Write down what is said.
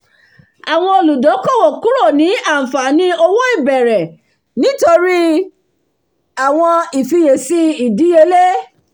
àwọn olùdókòwò kúrò ní àǹfààní òwò ìbẹ̀rẹ̀ nítorí àwọn ifiyèsí ìdíyelé